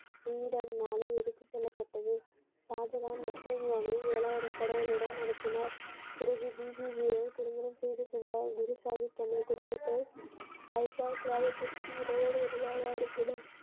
கிரீடம் நாடு எடுத்துச் செல்லப்பட்டது ஷாஜகான் முஸ்லிம்களை ஏழு ஆயிரம் படைகளுடன் அனுப்பினார் பிறகு பிபிஜியை திருமணம் செய்து கொண்டார் குருசாகிப் தனது குடும்பத்தை வைப்பால் கிராமத்திற்கு இரவோடு இரவாக அனுப்பினார்.